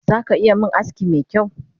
Zaka iya min aski mekyau?